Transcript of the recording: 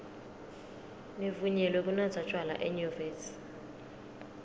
nivunyelwe kunatsa tjwala enyuvesi